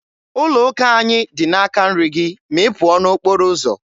Ụlọ ụka anyị dị n'aka nri gị ma ị pụọ n'okporo ụzọ.